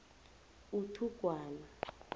uthugwana